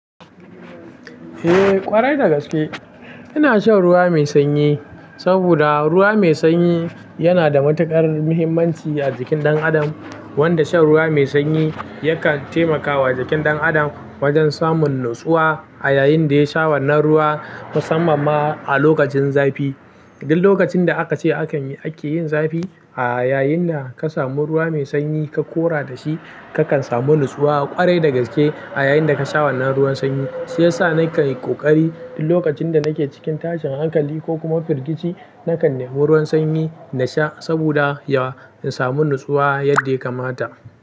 Eh ƙwarai da gaske ina shan ruwa mai sanyi saboda ruwa mai sanyi yana da matuƙar muhimmanci a jikin ɗan adam wanda shan ruwa mai sanyi yakan taimakawa jikin ɗan adam wajen samun natsuwa a yayin da ya sha wannan ruwa musamman ma a lokacin zafi. Dil lokacin da aka ce ake yin zafi a yayin na ka samu ruwa mai sanyi ka ƙora da shi kakan samu natsuwa ƙwarai da gaske a yayin da ka sha wannan ruwan sanyi. Shi yasa na kai ƙoƙari dil lokacin da nake cikin tashin hankali ko kuma firgici nakan nemi ruwan sanyi na sha saboda in samu natsuwa yadda ya kamata.